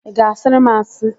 Ị ga-asịrị m asị?